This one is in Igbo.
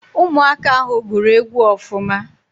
Ụmụaka ahụ gụrụ egwu ọfụma